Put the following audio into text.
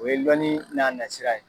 O ye lɔnni n'a nasira ye.